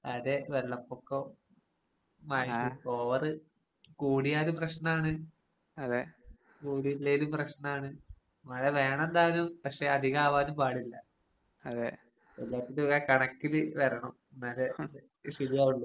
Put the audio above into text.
അതെ വെള്ളപ്പൊക്കം മഴ ഓവറ് കൂടിയാലും പ്രശ്‌നാണ് അതെ കൂടിയില്ലേലും പ്രശ്നാണ് മഴ വേണം താനും പക്ഷെ അധികാവാനും പാടില്ല. എല്ലാത്തിനും ഓരോ കണക്കില് വരണം. എന്നാല് ശരിയാവുള്ളൂ.